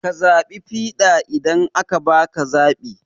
Ka zaɓi fiɗa idan aka baka zaɓi